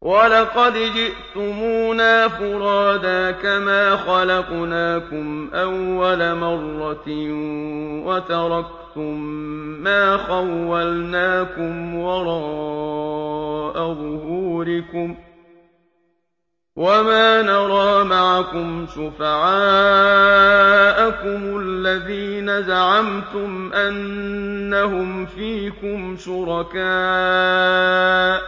وَلَقَدْ جِئْتُمُونَا فُرَادَىٰ كَمَا خَلَقْنَاكُمْ أَوَّلَ مَرَّةٍ وَتَرَكْتُم مَّا خَوَّلْنَاكُمْ وَرَاءَ ظُهُورِكُمْ ۖ وَمَا نَرَىٰ مَعَكُمْ شُفَعَاءَكُمُ الَّذِينَ زَعَمْتُمْ أَنَّهُمْ فِيكُمْ شُرَكَاءُ ۚ